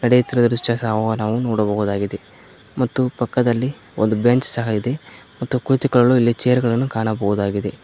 ನಡೆಯುತ್ತಿರುವ ದೃಶ್ಯ ಸಹ ನಾವು ನೋಡಬಹುದಾಗಿದೆ ಮತ್ತು ಪಕ್ಕದಲ್ಲಿ ಒಂದು ಬೆಂಚ್ ಸಹ ಇದೆ ಮತ್ತು ಕುಳಿತುಕೊಳ್ಳಲು ಚೇರ್ ಗಳನ್ನ ಕಾಣಬಹುದಾಗಿದೆ.